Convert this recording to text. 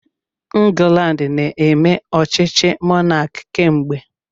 Ndị England na-eme ọchịchị mọnaki kemgbe.